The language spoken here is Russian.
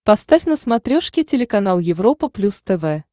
поставь на смотрешке телеканал европа плюс тв